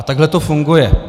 A takhle to funguje.